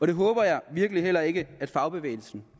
det håber jeg virkelig heller ikke at fagbevægelsen